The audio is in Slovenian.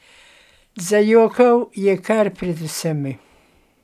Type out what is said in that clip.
Zajokal je kar pred vsemi.